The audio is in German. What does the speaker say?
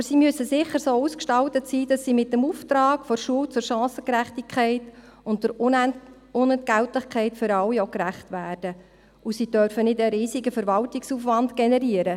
Aber diese müssen sicher so ausgestaltet sein, dass sie dem Auftrag der Schule zur Chancengerechtigkeit und Unentgeltlichkeit für alle gerecht werden, und sie dürfen keinen riesigen Verwaltungsaufwand generieren.